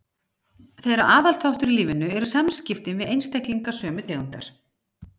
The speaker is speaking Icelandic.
Þeirra aðal þáttur í lífinu eru samskiptin við einstaklinga sömu tegundar.